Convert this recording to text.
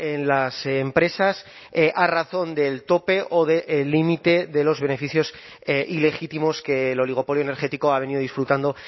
en las empresas a razón del tope o del límite de los beneficios ilegítimos que el oligopolio energético ha venido disfrutando